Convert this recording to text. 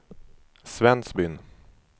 Svensbyn